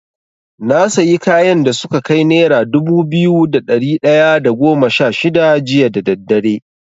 Na sayi kayan da suka kai nera dubu biyu da ɗari ɗaya da goma sha shida jiya da daddare.